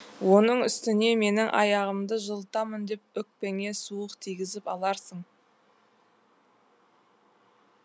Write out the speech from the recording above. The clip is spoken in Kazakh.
оның үстіне менің аяғымды жылытамын деп өкпеңе суық тигізіп аларсың